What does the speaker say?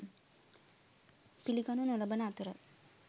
පිළිගනු නොලබන අතර